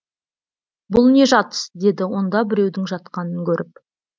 бұл не жатыс деді онда біреудің жатқанын көріп